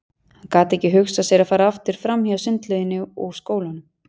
Hann gat ekki hugsað sér að fara aftur fram hjá sundlauginni og skólanum.